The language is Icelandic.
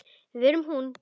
Við erum hún.